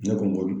Ne ko